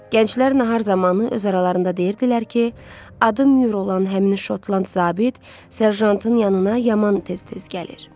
Gənclər nahar zamanı öz aralarında deyirdilər ki, adı Myur olan həmin Şotland zabit Serjantın yanına yaman tez-tez gəlir.